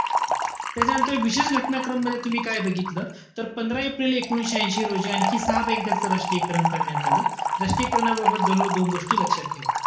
त्याच्यानंतर विशेष घटना क्रममध्ये तुम्ही काय बघितलं? तर पंधरा एप्रिल एकोणीशे ऐशी रोजी आणखी सहा bank च राष्ट्रीयकरण करण्यात आलं. राष्ट्रीयीकरणाबद्दल दररोज दोन गोष्टी लक्षात ठेवा.